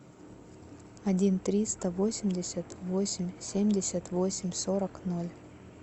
один триста восемьдесят восемь семьдесят восемь сорок ноль